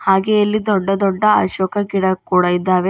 ಹಾಗೇ ಇಲ್ಲಿ ದೊಡ್ಡ ದೊಡ್ಡ ಅಶೋಕ ಗಿಡ ಕೂಡ ಇದ್ದಾವೆ.